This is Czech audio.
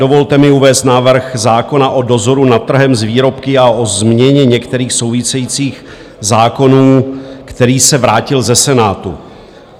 Dovolte mi uvést návrh zákona o dozoru nad trhem s výrobky a o změně některých souvisejících zákonů, který se vrátil ze Senátu.